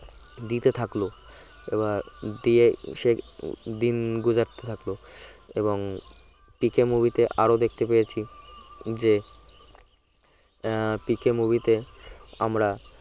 দিতে থাকলো এবার দিয়ে সে দিন গুজারতে থাকলো এবং পিকে movie তে আরো দেখতে পেয়েছি যে আহ পিকে movie তে আমরা